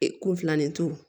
Ee kunfilanintu